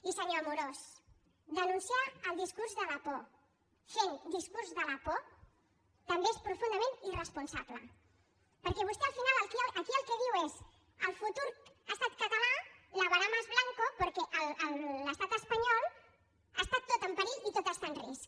i senyor amorós denunciar el discurs de la por fent discurs de la por també és profundament irresponsable perquè vostè al final aquí el que diu és el futur estat català lavará más blanco nyol està tot en perill i tot està en risc